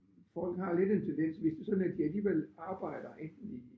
Folk har lidt en tendens hvis det sådan at de alligevel arbejder enten i